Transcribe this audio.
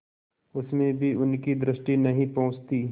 उसमें भी उनकी दृष्टि नहीं पहुँचती